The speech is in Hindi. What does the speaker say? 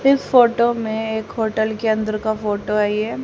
इस फोटो में एक होटल के अंदर का फोटो है ये।